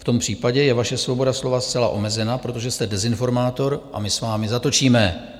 V tom případě je vaše svoboda slova zcela omezena, protože jste dezinformátor a my s vámi zatočíme!